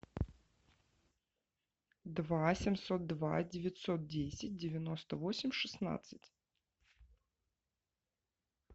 два семьсот два девятьсот десять девяносто восемь шестнадцать